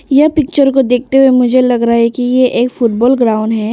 यह पिक्चर को देखते हुए मुझे लग रहा है कि ये एक फुटबॉल ग्राउंड है।